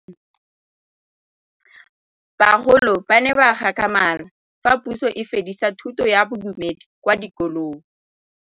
Bagolo ba ne ba gakgamala fa Pusô e fedisa thutô ya Bodumedi kwa dikolong.